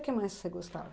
O que mais que você gostava?